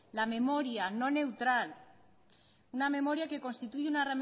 la memoria no neutral una memoria que constituye una